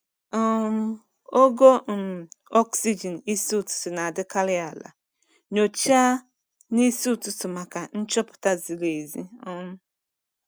um Ogo um oxygen isi ụtụtụ na-adịkarị ala- nyochaa n'isi ụtụtụ maka nchọpụta ziri ezi. um